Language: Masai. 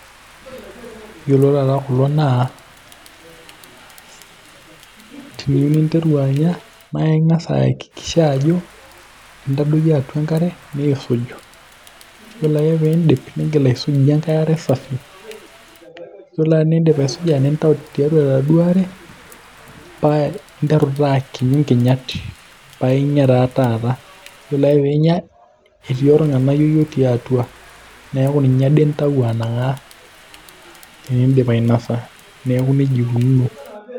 Iyiolo taata kulo naa teniyieu ninteru anya, naa ing'as ayakikisha ajo, intadoikio atua enkare niisuj. Iyiolo ake pee iidip nigil aitukuyie enkae are safi. Iyiolo enindip aisuja nintayu tiatua enaduoo are, paa interu taa akinyu nkinyat, paa inyia taa taata, iyiolo ake pee inyia etii ornganayioi otii atua paa intayu anang'aa. Tenindip ainosa, neeku nejia ikununo.